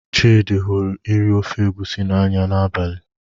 Chidị hụrụ iri ofe egusi n'anya n'abalị.